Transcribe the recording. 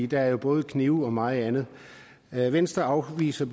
der er både knive og meget andet venstre afviser